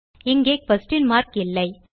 இங்கே question mark இல்லை